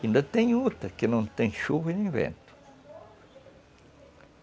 Ainda tem outra, que não tem chuva e nem vento.